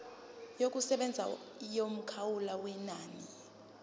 yokusebenza yomkhawulo wenani